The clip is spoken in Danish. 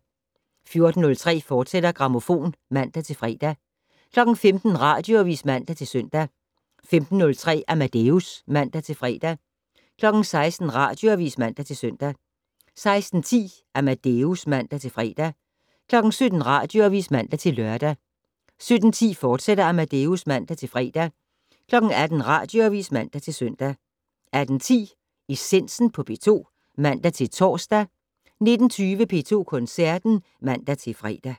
14:03: Grammofon, fortsat (man-fre) 15:00: Radioavis (man-søn) 15:03: Amadeus (man-fre) 16:00: Radioavis (man-søn) 16:10: Amadeus (man-fre) 17:00: Radioavis (man-lør) 17:10: Amadeus, fortsat (man-fre) 18:00: Radioavis (man-søn) 18:10: Essensen på P2 (man-tor) 19:20: P2 Koncerten (man-fre)